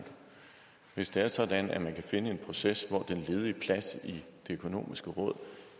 hvis det er sådan at man kan finde en proces så den ledige plads i det økonomiske råd